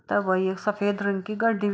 --तब आई है सफेद रंग की गाड़ी--